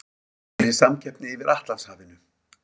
Meiri samkeppni yfir Atlantshafinu